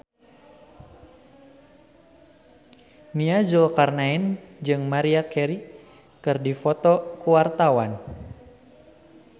Nia Zulkarnaen jeung Maria Carey keur dipoto ku wartawan